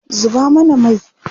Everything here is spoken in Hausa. Zuba mana mai!